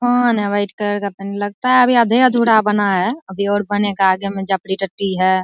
खान है white colour का पहने लगता है अभी आधे-अधूरा बना है अभी और बनेगा आगे में जाफड़ी टटी है।